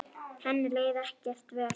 Henni leið ekkert vel.